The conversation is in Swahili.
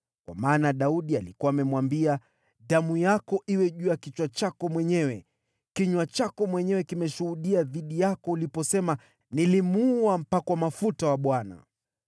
Kwa maana Daudi alikuwa amemwambia, “Damu yako iwe juu ya kichwa chako mwenyewe. Kinywa chako mwenyewe kimeshuhudia dhidi yako uliposema, ‘Nilimuua mpakwa mafuta wa Bwana .’”